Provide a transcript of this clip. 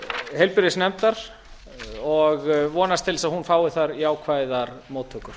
heilbrigðisnefndar og vonast til þess að hún fái þar jákvæðar móttökur